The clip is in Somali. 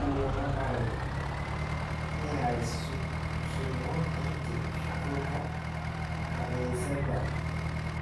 Uu na baryey inay sugno inti shugulka kanisadha